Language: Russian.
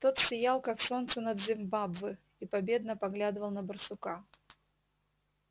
тот сиял как солнце над зимбабве и победно поглядывал на барсука